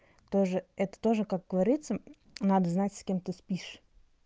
тоже это тоже как говорится надо знать с кем ты спишь